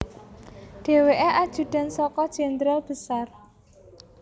Dhèwèkè ajudan saka Jenderal Besar